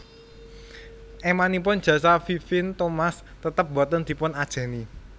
Émanipun jasa Vivien Thomas tetep boten dipun ajèni